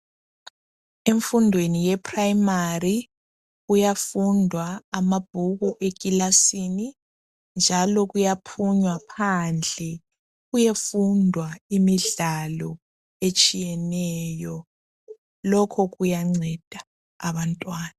Emfundweni yeprimari kuyafundwa amabhuku eclasini njalo kuyaphunywa phandle kuyefundwa imidlalo etshiyeneyo lokho kuyanceda abantwana.